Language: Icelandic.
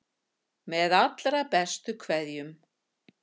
Með allra bestu kveðjum.